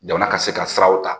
Jamana ka se ka siraw ta